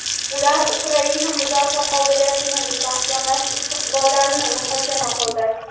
ular Ukraina mudofaa qobiliyatini mustahkamlash istiqbollarini muhokama qildi.